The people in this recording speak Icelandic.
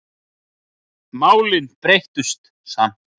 Málin breyttust samt.